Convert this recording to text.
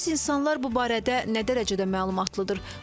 Bəs insanlar bu barədə nə dərəcədə məlumatlıdır?